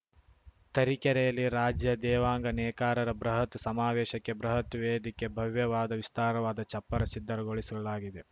ತರೀಕೆರೆಯಲ್ಲಿ ರಾಜ್ಯ ದೇವಾಂಗ ನೇಕಾರರ ಬೃಹತ್‌ ಸಮಾವೇಶಕ್ಕೆ ಬೃಹತ್‌ ವೇದಿಕೆ ಭವ್ಯವಾದ ವಿಸ್ತಾರವಾದ ಚಪ್ಪರ ಸಿದ್ಧಗೊಳಿಸಲಾಗಿದೆ